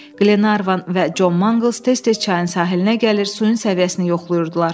Glenarvan və John Mangles tez-tez çayın sahilinə gəlir, suyun səviyyəsini yoxlayırdılar.